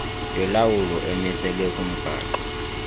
yolawulo emiselwe kumgaqo